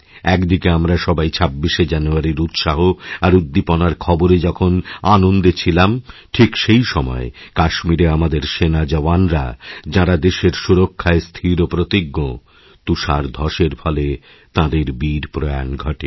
এক দিকে আমরা সবাই ২৬শে জানুয়ারির উৎসাহ আর উদ্দীপনার খবরেযখন আনন্দে ছিলাম ঠিক সেই সময় কাশ্মীরে আমাদের সেনা জওয়ানরা যাঁরা দেশেরসুরক্ষায় স্থিরপ্রতিজ্ঞ তুষার ধ্বসের ফলে তাঁদের বীরপ্রয়াণ ঘটে